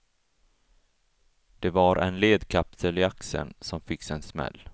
Det var en ledkapsel i axeln, som fick sig i en smäll.